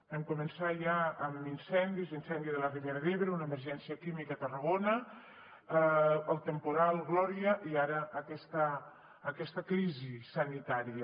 vam començar ja amb incendis l’incendi de la ribera d’ebre una emergència química a tarragona el temporal gloria i ara aquesta crisi sanitària